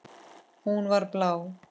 Hún var blá.